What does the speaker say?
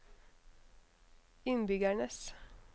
innbyggernes